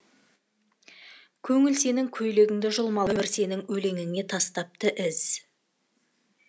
көңіл сенің көйлегіңді жұлмалап өмір сенің өлеңіңе тастапты із